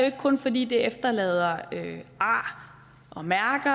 ikke kun fordi det efterlader ar og mærker